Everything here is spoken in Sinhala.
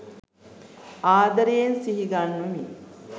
ආදරයෙන් සිහිගන්වමි